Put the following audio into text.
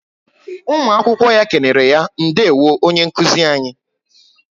Ụmụ akwụkwọ ya kenereya - Ndewo onye nkụzi anyị